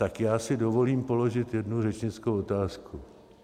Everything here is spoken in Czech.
Tak já si dovolím položit jednu řečnickou otázku.